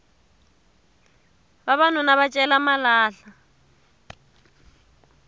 vavanuna va cela malahla